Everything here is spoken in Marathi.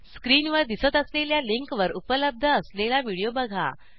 स्क्रीनवर दिसत असलेल्या लिंकवर उपलब्ध असलेला व्हिडिओ बघा